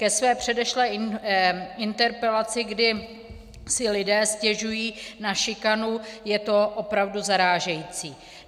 Ke své předešlé interpelaci, kdy si lidé stěžují na šikanu - je to opravdu zarážející.